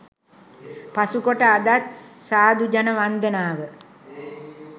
පසුකොට අදත් සාධු ජන වන්දනාව